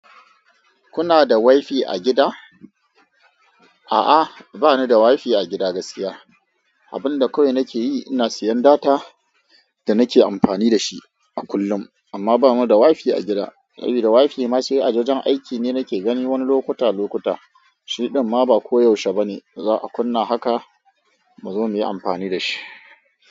Kuna da wifi a gida? A'a, ba ni da wifi a gida gaskiya. Abin da kawai nake yi, ina siyan data da nake amfani da shi a kullum. Amma ba mu da wifi a gida. Sabida wifi ma sai a wajen aiki ne nake gani wani lokuta, lokuta. Shi ɗin ma ba koyaushe ba ne. Za a kunna haka mu zo muyi amfani da shi.